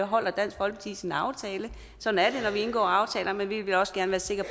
holder dansk folkeparti sin aftale sådan er vi indgår aftaler men vi vil også gerne være sikre